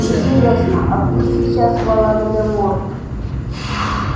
интересно а где сейчас волан-де-морт